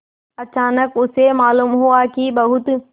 अचानक उसे मालूम हुआ कि बहुत